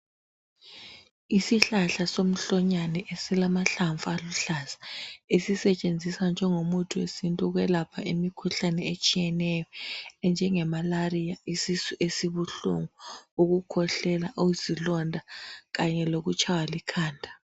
Isihlahla somhlonyane esilamahlamvu aluhlaza esisetshenziswa njengomuthi wesintu ukwelapha imikhuhlane etshiyeneyo enjenge malariya, isisu esibuhlungu, ukhwehlela, izilonda kanye lokutshaywa likhanda.